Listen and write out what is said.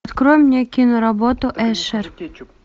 открой мне киноработу эшер